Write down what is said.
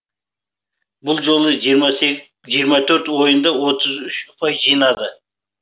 бұл жолы жиырма төрт ойында отыз үш ұпай жинады